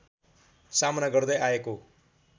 सामना गर्दै आएको